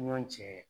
Ɲɔ cɛ